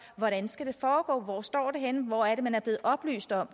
hvordan skal det foregå hvor står det henne hvor er det at man er blevet oplyst om